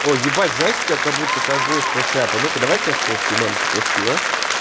о ебать знаешь у тебя как-будто ковбойская шляпа ну-ка давай я тебя сфоткаю мамке пошлю а